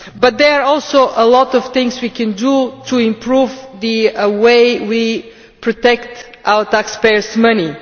There are also a lot of things we can do to improve the way we protect our taxpayer's money.